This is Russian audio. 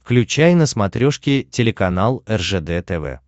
включай на смотрешке телеканал ржд тв